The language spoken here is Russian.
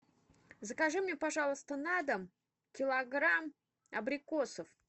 закажи мне пожалуйста на дом килограмм абрикосов